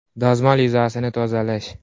Dazmol yuzasini tozalash .